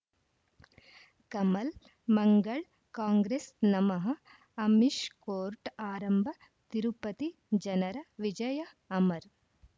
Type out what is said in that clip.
Kamal Mangal Congress ನಮಃ Amish court ಆರಂಭ ತಿರುಪತಿ ಜನರ ವಿಜಯ ಅಮರ್